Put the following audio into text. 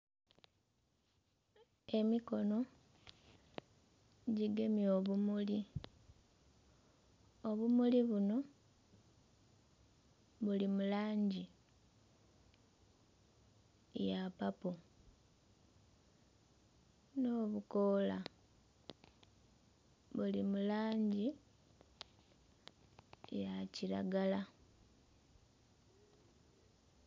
Emikono gyigemye obumuli, obumuli bunho buli mu langi ya papo n'obukoola buli mu langi ya kilagala.